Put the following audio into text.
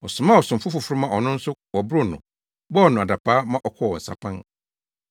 Ɔsomaa ɔsomfo foforo ma ɔno nso wɔboroo no, bɔɔ no adapaa, ma ɔkɔɔ nsapan.